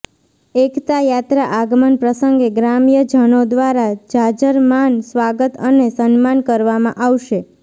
એકતાયાત્રા આગમન પ્રસંગે ગ્રામ્યજનો દ્વારા જાજરમાન સ્વાગત અને સન્માન કરવામાં આવશે